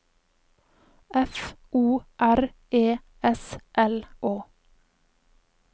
F O R E S L Å